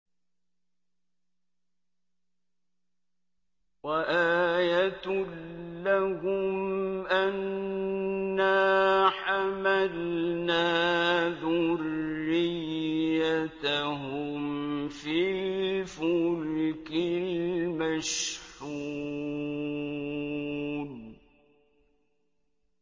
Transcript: وَآيَةٌ لَّهُمْ أَنَّا حَمَلْنَا ذُرِّيَّتَهُمْ فِي الْفُلْكِ الْمَشْحُونِ